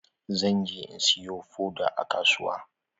Zan je in siyi foda a kasuwa.